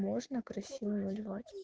можно красиво вольвать